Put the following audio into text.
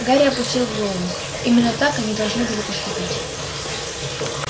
гарри опустил голову именно так они должны были поступить